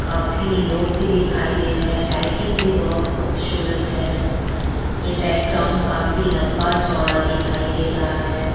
काफी लोग भी दिखाई दे रहे हैं लाइटिंग भी बहुत खूबसूरत है ये बैकग्राउंड काफी लम्बा-चौड़ा दिखाई दे रहा है।